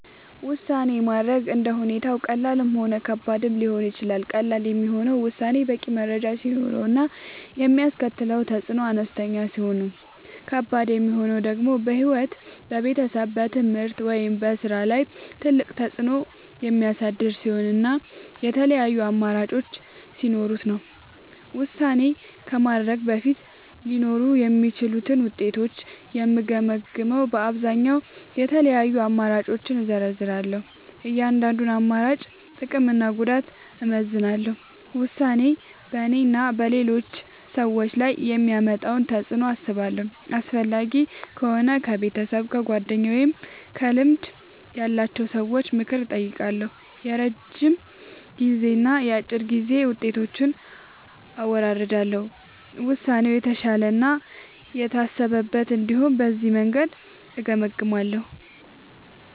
ውሳኔ ማድረግ እንደ ሁኔታው ቀላልም ሆነ ከባድም ሊሆን ይችላል። ቀላል የሚሆነው ውሳኔው በቂ መረጃ ሲኖረው እና የሚያስከትለው ተፅዕኖ አነስተኛ ሲሆን ነው። ከባድ የሚሆነው ደግሞ በሕይወት፣ በቤተሰብ፣ በትምህርት ወይም በሥራ ላይ ትልቅ ተፅዕኖ የሚያሳድር ሲሆን እና የተለያዩ አማራጮች ሲኖሩት ነው። ውሳኔ ከማድረግ በፊት ሊኖሩ የሚችሉትን ውጤቶች የምገመግመዉ በአብዛኛዉ፦ የተለያዩ አማራጮችን እዘረዝራለሁ። የእያንዳንዱን አማራጭ ጥቅምና ጉዳት አመዛዝናለሁ። ውሳኔው በእኔና በሌሎች ሰዎች ላይ የሚያመጣውን ተፅዕኖ አስባለሁ። አስፈላጊ ከሆነ ከቤተሰብ፣ ከጓደኞች ወይም ከልምድ ያላቸው ሰዎች ምክር እጠይቃለሁ። የረጅም ጊዜና የአጭር ጊዜ ውጤቶችን አወዳድራለሁ። ውሳኔው የተሻለ እና የታሰበበት እንዲሆን በዚህ መንገድ እገመግማለሁ።